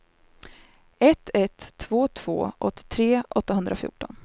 ett ett två två åttiotre åttahundrafjorton